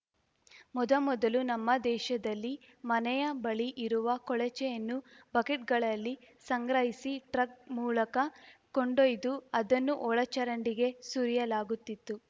ಮೊದಮೊದಲು ನಮ್ಮ ದೇಶದಲ್ಲಿ ಮನೆಯ ಬಳಿ ಇರುವ ಕೊಳಚೆಯನ್ನು ಬಕೆಟ್‌ಗಳಲ್ಲಿ ಸಂಗ್ರಹಿಸಿ ಟ್ರಕ್‌ ಮೂಲಕ ಕೊಂಡೊಯ್ದು ಅದನ್ನು ಒಳಚರಂಡಿಗೆ ಸುರಿಯಲಾಗುತ್ತಿತ್ತು